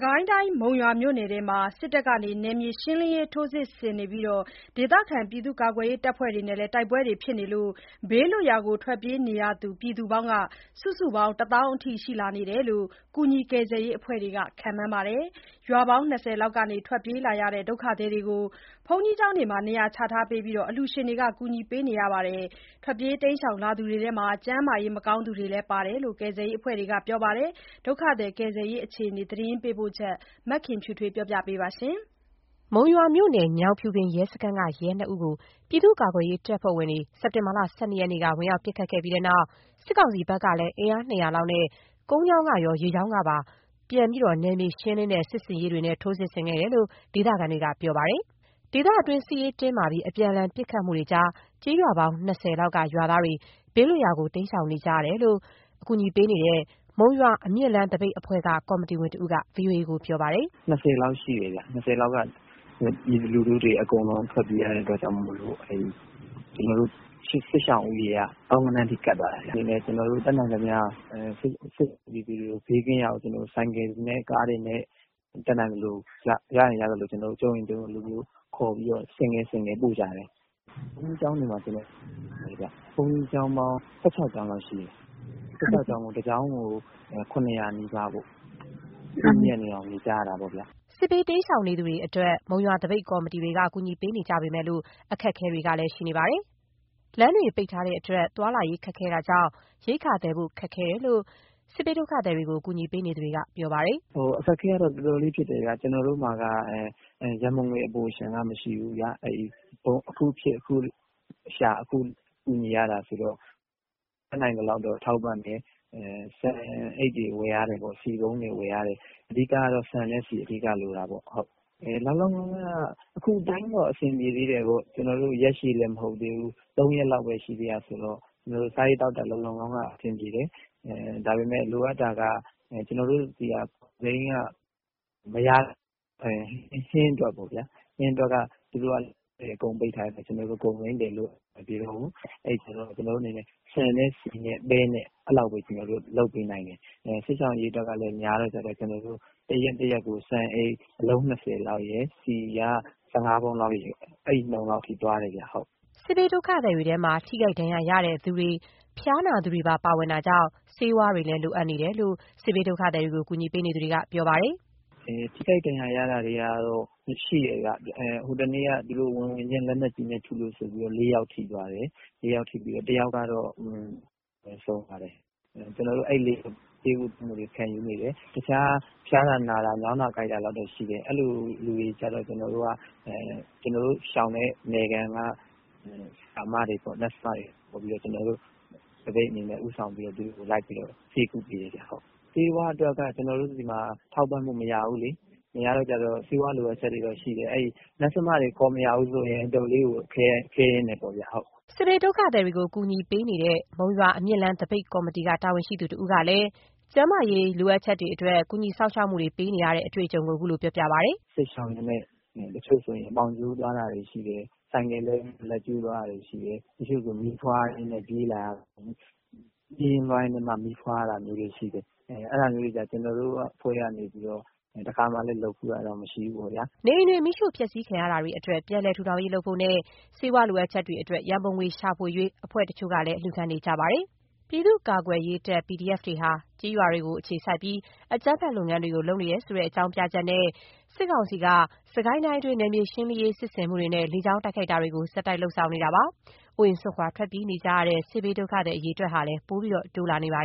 ကိုင်းတိုင်း မုံရွာမြို့နယ်အတွင်း စစ်တပ်ရဲ့ နယ်မြေရှင်းလင်းရေးထိုးစစ်နဲ့ ဒေသခံ ကာကွယ်ရေးတပ်ဖွဲ့တွေနဲ့ တိုက်ပွဲတွေကြား ဘေးလွတ်ရာ ထွက်ပြေးနေတဲ့သူတွေ စုစုပေါင်း ၁၀,၀၀၀ လောက်အထိ ရှိလာတယ်လို့ ကူညီကယ်ဆယ်ရေး အဖွဲ့တွေ့ ခန့်မှန်းပါတယ်။ ရွာပေါင်း ၂၀ လောက်က ထွက်ပြေးလာတဲ့ ဒုက္ခသည်တွေကို ဘုန်းတော်ကြီးကျောင်းတွေမှာ နေရာချပေးပြီး အလှူရှင်တွေက ကူညီပေးနေပါတယ်။ ထွက်ပြေးလာသူတွေထဲမှာ ကျန်းမာရေးမကောင်းတဲ့သူတွေလည်း ပါတယ်လို့ ကယ်ဆယ်ရေးအဖွဲ့တွေက ပြောပါတယ်။ ဒုက္ခသည် ကယ်ဆယ်ရေးအခြေအနေ သတင်းပေးပို့ချက်ကို မခင်ဖြူထွေးက တင်ပြပါမယ်။ မုံရွာမြို့နယ် ညောင်ဖြူပင် ရဲစခန်းက ရဲ နှစ် ဦးကို ပြည်သူ့ကာကွယ်ရေးတပ်ဖွဲ့ဝင်တွေ စက်တင်ဘာလ ၁၂ ရက်နေ့က ဝင်ရောက် ပစ်ခတ်ခဲ့ပြီးတဲ့နောက် စစ်ကောင်စီဘက်ကလည်း အင်အား ၂၀၀ လောက်နဲ့ ကုန်းကြောင်းကရော ရေကြောင်းကပါ ပြန်ပြီး နယ်မြေရှင်းလင်းတဲ့ စစ်ဆင်ရေးတွေနဲ့ ထိုးစစ်ဆင်ခဲ့တယ်လို့ ဒေသခံတွေက ပြောပါတယ်။ ဒေသတွင်း စစ်ရေးတင်းမာပြီး အပြန်အလှန်ပစ်ခတ်မှုတွေကြား ကျေးရွာပေါင်း ၂၀ လောက်က ရွာသားတွေ ဘေးလွတ်ရာကို တိမ်းရှောင်ကြတယ်လို့ အကူညီပေးနေတဲ့ မုံရွာအမြင့်လမ်း သပိတ်အဖွဲ့က ကော်မတီဝင်တစ်ဦးက VOA ကို ပြောပါတယ်။ “ရွာပေါင်း ၂၀ လောက်ရှိတယ်ဗျ။ ရွာပေါင်း ၂၀ က ပြည်သူလူထုတွေ အကုန်လုံး ထွက်ပြေးကြရတဲ့ အခြေအနေမို့လို့ စစ်ရှောင်ဦးရေက သောင်းဂဏန်းထိ ကပ်သွားတာာဗျ။ ကျနော်တို့လည်း တတ်နိုင်သလောက် စစ်ရှောင်တွေကို ဘေးကင်းရာသို့ ဆိုင်ကယ်တွေနဲ့ ကားတွေနဲ့ တတ်နိုင်သလို ရရင် ရသလို ကြုံရင် ကြုံသလို ခေါ်ပြီးတော့ ဆင့်ကဲ ဆင့်ကဲ ပို့ကြတယ်။ ဘုန်းကြီးကျောင်းတွေမှာ နေရာချထားတယ်။ ဘုန်းကြီးကျောင်းပေါင်း ၁၆ ကျောင်းလောက်ရှိတယ်။ ၁၆ ကျောင်းမှာ တကျောင်းကို ၇၀၀ နီးပါးပေါ့။ ပြည့်ညှပ်နေအောင် နေကြရတာပေါ့ဗျာ။” စစ်ရှောင်တွေအတွက် မုံရွာသပိတ်ကော်မတီတွေက ကူညီပေးနေကြပေမယ့် အခက်အခဲတွေလည်း ရှိနေကြပါတယ်။ စလမ်းတွေပိတ်ထားတဲ့အတွက် သွားလာရေး ခက်ခဲခက်တာကြောင့် ရိက္ခာသယ်ဖို့ ခက်ခဲတဲ့အကြောင်း စစ်ရှောင်တွေကို ကူညီပေးနေသူတွေက ပြောကြပါတယ်။ “အခက်အခဲတွေကတော့ တော်တော်လေးဖြစ်တယ်ဗျ။ ကျနော်တို့မှာက ရန်ပုံငွေက အပိုအလျှံမရှိဘူးလေ။ အခုဖြစ်အခုရှာ အခုကူညီရတာဆိုတော့ တတ်နိုင်သလောက်တော့ ထောက်ပံံ့တယ်။ ဆန်အိတ်တွေ ဝယ်ရတယ်။ ဆီပုံးတွေ ဝယ်ရတယ်။ အဓိကကတော့ ဆန်နဲ့ ဆီ အဓိကလိုတာပေါ့။ ခုကတော့ အဆင်ပြေသေးတယ်၊ ရက်ရှည်လည်း မဟုတ်သေးဘူး ၃ ရက်လောက်ပဲ ရှိသေးတယ်ဆိုတော့ စားရေးသောက်ရေး အဆင်ပြေသေးတယ်။ ဒါပေမဲ့ လိုအပ်တာက ကျနော်တို့ဘက်မှာ ကုန်စိမ်းက ဝယ်မရတော့ဘူး၊ ဟင်းအတွက်ပေါ့။ သူတို့က အကုန်ပိတ်ထားတဲ့ခါကျတော့ ကျနော်တို့ ကုန်စိမ်းသယ်ဖို့ အဆင်မပြေတော့ဘူး။ အဲ့ဒီတော့ ကျနော်တို့ ဆန်နဲ့ ဆီနဲ့ ပဲနဲ့ အဲ့ဒီလောက်ပဲ ကျနော်တို့ လုပ်ပေးနိုင်တယ်။ စစ်ရှောင်အရေအတွက်ကလည်း များတဲ့ခါကျတော့ တစ်နေ့တစ်နေ့ကို ဆန်အိတ် အလုံး ၂၀ လောက်ရယ် ဆီက ၁၅ ပုံးလောက်ရယ် အဲ့ဒီလောက် အနေအထားသွားတယ်ဗျ။” စစ်ရှောင် ဒုက္ခသည်တွေထဲမှာ ထိခိုက်ဒဏ်ရာ ရသူတွေ၊ ဖျားနာသူတွေ ပါဝင်တာကြောင့် ဆေးဝါးတွေလည်း လိုအပ်နေတယ်လို့ စစ်ရှောင်ကူညီသူတွေက ပြောပါတယ်။ “တစ်ယောက်ကတော့ ဆုံးသွားတယ်။ ကျန်တဲ့သူတွေကတော့ ဆေးကုသမှု ခံယူနေတယ်။ တခြားဖျားတာနာတာ ညောင်းတာကိုက်တာမျိုးတော့ ရှိတယ်။ အဲ့ဒါမျိုးကျတော့ ကျနော်တို့ ရှောင်တဲ့ နယ်ခံက ဆရာမတွေ (Nurse) ကိုခေါ်ပြီးတော့ ကျနော်တို့ သပိတ်အနေနဲ့ ဦးဆောင်ပြီးတော့ ခေါ်ပြီး ဆေးကုပေးတယ်ဗျ။ ဆေးဝါးအတွက်က ကျနော်တို့ဆီမှာ ထောက်ပံ့မှုက မရဘူးလေ။'' စစ်ဘေးရှောင်တွေကို ကူညီပေးနေကြတဲ့ မုံရွာအမြင့်လမ်းသပိတ်ကော်မတီက သူတဦးကလည်း ကျန်းမာရေးအရ စောင့်ရှောက်ပေးနေရတဲ့ အတွေ့အကြုံကို အခုလို ပြောပြပါတယ်။ “စစ်ရှောင်ရင်းနဲ့ တချို့ဆိုရင် ပေါင်ကျိုးသွားတာတွေရှိတယ်။ ဆိုင်ကယ်လဲပြီး လက်ကျိုးသွားတာတွေရှိတယ်၊ တချို့ဆိုမီးဖွားရင်းနဲ့ ပြေးလာရတာတွေရှိတယ်။ ပြေးရင်းလွှားရင်းနဲ့မှ မီးဖွားရတာမျိုးတွေလည်း ရှိတယ်။ အဲ့ဒါမျိုးတွေကို ကျနော်တို့အဖွဲ့က နေပြီးတော့မှ တခါမှတော့ လုပ်ဖူးတာတော့ မရှိဘူးပေါ။ ။” နေအိမ်တွေ မီးရှို့ဖျက်ဆီးခံရတာတွေအတွက် ပြန်လည်ထူးထောင်ရေး လုပ်ဖို့နဲ့ ဆေးဝါးလိုအပ်ချက်တွေအတွက် ရန်ပုံငွေရှာဖွေရေး အဖွဲ့တချို့က အလှူခံနေကြပါတယ်။ ပြည်သူ့ကာကွယ်ရေးတပ် PDF တွေဟာ ကျေးရွာတွေကို အခြေစိုက်ပြီး အကြမ်းဖက် လုပ်ငန်းတွေ လုပ်နေတယ်ဆိုတဲ့ အကြောင်းပြချက်နဲ့ စစ်ကောင်စီက စစ်ကိုင်းတိုင်းအတွင်း နယ်မြေရှင်းလင်းရေး စစ်ဆင်မှုတွေနဲ့ လေကြောင်းတိုက်ခိုက်မှုတွေကို ဆက်တိုက်လုပ်လာခဲ့တာပါ။ အိုးအိမ် စွန့်ခွာ ထွက်ပြေးနေကြရတဲ့ စစ်ရှောင်အရေအတွက်တွေလည်း ပိုပြီးတော့ တိုးလာနေပါ